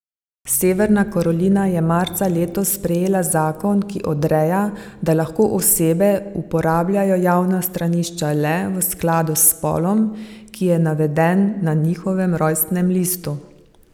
Severna Karolina je marca letos sprejela zakon, ki odreja, da lahko osebe uporabljajo javna stranišča le v skladu s spolom, ki je naveden na njihovem rojstnem listu.